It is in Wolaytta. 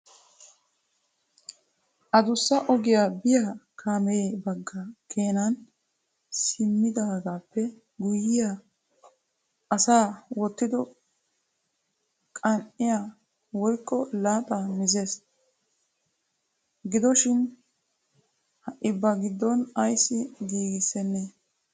Addussa ogiya biyaa kaamee bagga keenani simmidoogappe guyyiya asa wottido qan"iya woykko laaxa mizessi gidoshin ha I ba giddon ayssi giigissenne?